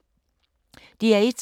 DR1